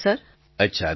પ્રધાનમંત્રી અચ્છા